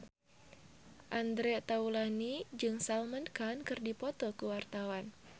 Andre Taulany jeung Salman Khan keur dipoto ku wartawan